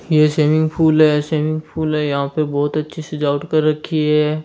यह एक swimming pool है सिविंग फुल है यह पर बहुत अच्छी सजावट कर रखी है।